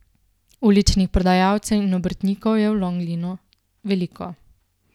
Uličnih prodajalcev in obrtnikov je v Longlinu veliko.